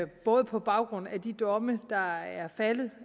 både på baggrund af de domme der er faldet